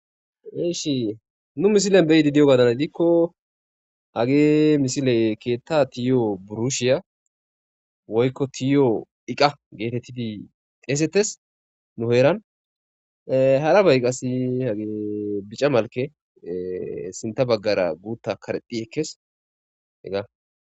Nu misilen beyidi di'o gaadana dikko hage misile keetta tiyo burushiya woykko tiyo iqa geetettidi xeesetes. Nu heeran haraba qassi hage bica malke sintha baggara guutta karexi ekkees hegga.